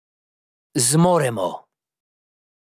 Zmoremo!